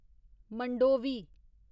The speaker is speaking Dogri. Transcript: मंडोवी